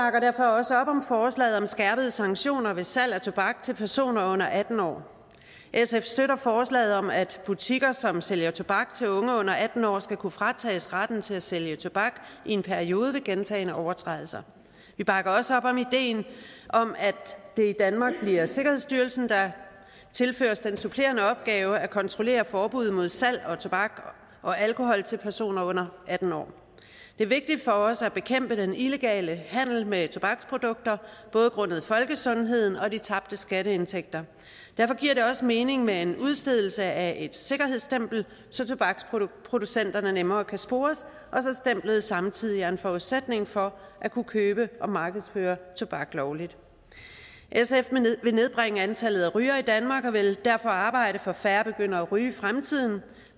også op om forslaget om skærpede sanktioner ved salg af tobak til personer under atten år sf støtter forslaget om at butikker som sælger tobak til unge under atten år skal kunne fratages retten til at sælge tobak i en periode ved gentagne overtrædelser vi bakker også op om ideen om at det i danmark bliver sikkerhedsstyrelsen der tilføres den supplerende opgave at kontrollere forbuddet mod salg af tobak og alkohol til personer under atten år det er vigtigt for os at bekæmpe den illegale handel med tobaksprodukter både grundet folkesundheden og de tabte skatteindtægter derfor giver det også mening med en udstedelse af et sikkerhedsstempel så tobaksproducenterne nemmere kan spores og stemplet skal samtidig være en forudsætning for at kunne købe og markedsføre tobak lovligt sf vil nedbringe antallet af rygere i danmark og vil derfor arbejde for at færre begynder at ryge i fremtiden